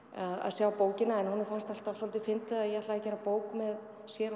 að sjá bókina en honum fannst alltaf svolítið fyndið að ég ætlaði að gera bók með sér